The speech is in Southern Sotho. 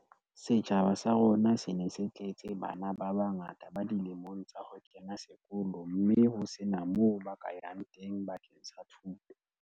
"Setjhaba sa rona se ne se tletse bana ba bangata ba dilemong tsa ho kena sekolo mme ho sena moo ba ka yang teng bakeng sa thuto."